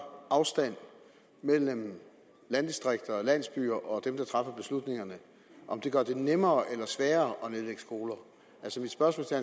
afstand mellem landdistrikter og landsbyer og dem der træffer beslutningerne gør det nemmere eller sværere at nedlægge skoler altså mit spørgsmål til